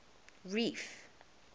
reef